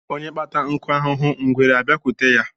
Onye kpata nkụ ahụhụ, ngwere a bịakwute ya